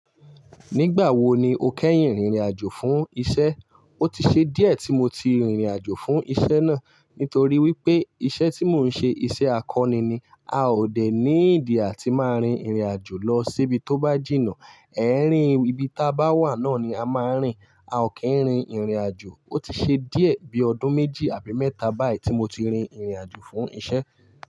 Nígbà wo ni o kẹ́yìn rìnrìn àjò fún iṣẹ́? Ó ti ṣe díẹ̀ tí mo ti rìnrìn àjò fún iṣẹ́ náà. Nítorí wípé iṣẹ́ tí mò ń ṣe iṣẹ́ akọni ni. A ò dẹ̀ needi atí máa rin ìrìn àjò lọ síbi tó bá jìnnà. Ẹ̀ẹ̀rín ibi táa bá wà náà ni a máa ń rìn. A ò kí ń rin ìrìn àjò. Ó ti ṣe díẹ̀ bíi ọdún méjì àbí mẹ́ta báyìí tí mo ti rin ìrìn àjò fún iṣẹ́.